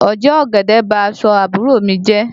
Oje ọ̀gẹ̀dẹ̀ bá aṣọ àbúrò mi jẹ́